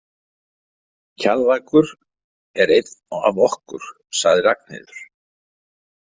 Kjallakur er einn af okkur, sagði Ragnheiður.